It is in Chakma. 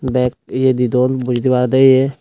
bek ye di dun boji tey parede ye.